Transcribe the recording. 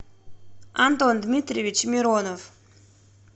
антон дмитриевич миронов